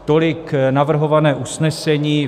Tolik navrhované usnesení.